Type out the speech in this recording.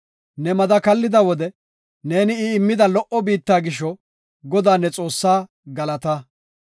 Ne mada kallida wode new I immida lo77o biitta gisho, Godaa ne Xoossaa galata.